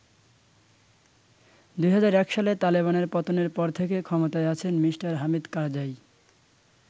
২০০১ সালে তালেবানের পতনের পর থেকে ক্ষমতায় আছেন মি: হামিদ কারজাই।